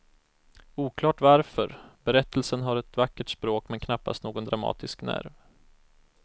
Oklart varför, berättelsen har ett vackert språk men knappast någon dramatisk nerv.